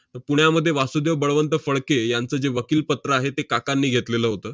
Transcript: पुण्यामध्ये वासुदेव बळवंत फडके यांचं जे वकीलपत्र आहे, ते काकांनी घेतलेलं होतं.